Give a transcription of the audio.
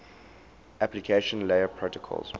application layer protocols